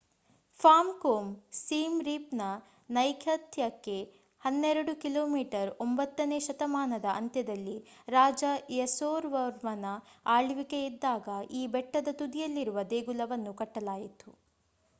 Form Krom Siem Reap ನ ನೈಋತ್ಯಕ್ಕೆ 12 ಕಿಮಿ . 9 ನೇ ಶತಮಾನದ ಅಂತ್ಯದಲ್ಲಿ ರಾಜ ಯಸೋವರ್ಮನ ಆಳ್ವಿಕೆಯಿದ್ದಾಗ ಈ ಬೆಟ್ಟದ ತುದಿಯಲ್ಲಿರುವ ದೇಗುಲವನ್ನು ಕಟ್ಟಲಾಯಿತು